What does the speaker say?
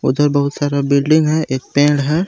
इधर बहुत सारा बिल्डिंग है एक पेड़ है।